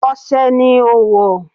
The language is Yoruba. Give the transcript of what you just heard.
Ose ni ó wọ̀.